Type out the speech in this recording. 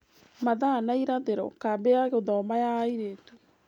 Mathaa na irathĩro, kambĩ ya gũthoma ya airĩtu.